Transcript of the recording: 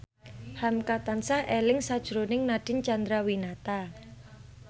hamka tansah eling sakjroning Nadine Chandrawinata